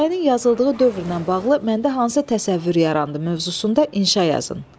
Hekayənin yazıldığı dövrlə bağlı məndə hansı təsəvvür yarandı mövzusunda inşa yazın.